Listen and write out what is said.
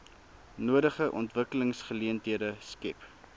nodige ontwikkelingsgeleenthede skep